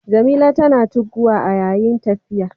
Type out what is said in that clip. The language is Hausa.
Jamila tana tugguwa a yayin tafiya.